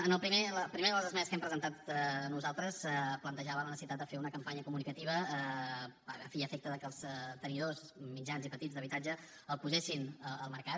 en la primera de les esmenes que hem presentat nosaltres plantejàvem la necessitat de fer una campanya comunicativa a fi i efecte de que els tenidors mitjans i petits d’habitatge el posessin al mercat